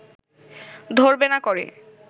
ধরবে না করে